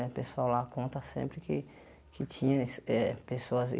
O pessoal lá conta sempre que que tinha ess eh pessoas.